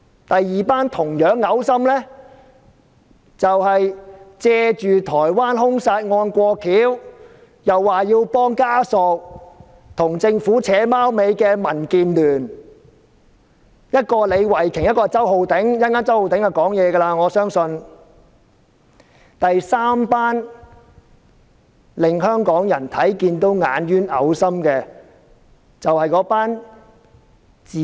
第二夥同樣噁心的，是借助台灣兇殺案，說要幫助遇害人家屬，跟政府"打龍通"的民建聯議員，一個是李慧琼議員，另一個是周浩鼎議員，我相信周浩鼎議員稍後會發言。